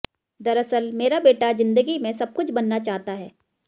दरअसल मेरा बेटा जिंदगी में सबकुछ बनना चाहता है